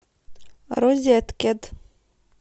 розеткед